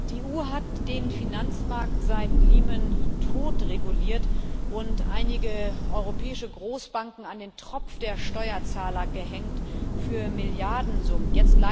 Die EU hat den Finanzmarkt seit Lehman totreguliert und einige europäische Großbanken an den Tropf der Steuerzahler gehängt für Milliardensummen.